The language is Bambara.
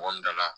Mɔgɔ min da la